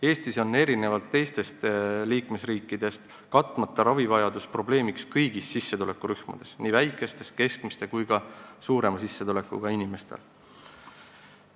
Eestis on erinevalt teistest liikmesriikidest katmata ravivajadus probleemiks kõigis sissetulekurühmades, nii väikese, keskmise kui ka suurema sissetulekuga inimestel.